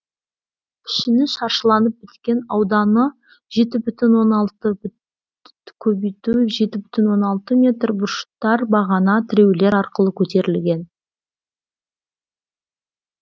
пішіні шаршыланып біткен ауданы жеті бүтін оннан алты көбейту жеті бүтін оннан алты метр бұрыштар бағана тіреулер арқылы көтерілген